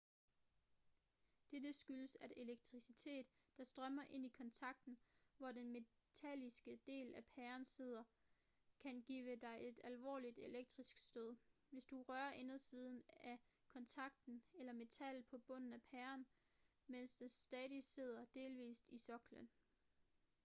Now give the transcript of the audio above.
dette skyldes at elektricitet der strømmer ind i kontakten hvor den metalliske del af pæren sidder kan give dig et alvorligt elektrisk stød hvis du rører indersiden af kontakten eller metallet på bunden af pæren mens den stadig sidder delvist i soklen